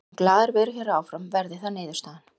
Ég mun glaður vera hér áfram verði það niðurstaðan.